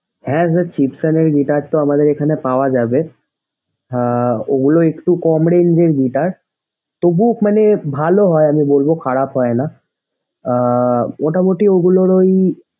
হ্যাঁ sir Chipson এর guitar তো আমাদেঅগুর এখানে পাওয়া যাবে আহ ওগুললো একটু কম range এর guitar তবু মানে ভালো হয় ওগুলো খারাপ হয়না। আহ মোটামুটি ওগুলার ঐ,